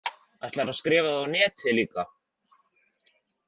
Ætlarðu að skrifa það á netið líka?